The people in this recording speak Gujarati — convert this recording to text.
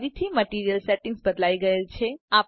ફરીથી મટીરીઅલ સેટિંગ્સ બદલાઈ ગયેલ છે